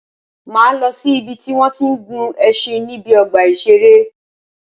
Máa lọ si ìbi tí wọ́n tí ń gun ẹṣin níbi ọgbà ìṣẹ̀rẹ́.